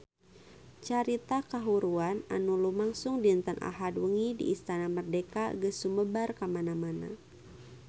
Carita kahuruan anu lumangsung dinten Ahad wengi di Istana Merdeka geus sumebar kamana-mana